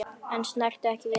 Þeir snertu ekki við neinu.